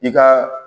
I ka